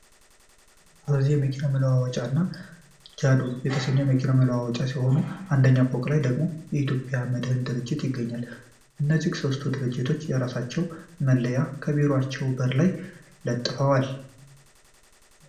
ሮዚ የመኪና መለዋወጫ እና ጃዱ የተሰኘኙ የመኪና መለዋወጫወች ሲሆኑ አንደኛ ፎቅ ላይ ደግሞ የኢትዮጵያ መድን ድርጅት ይገኛል። እነዚህ ሶስቱም ድርጅቶች የራሳቸውን መለያ ከቢሮአቸው በር ላይ ለጥፈዋል።